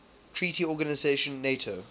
treaty organisation nato